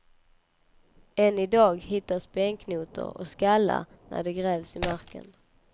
Än i dag hittas benknotor och skallar när det grävs i marken.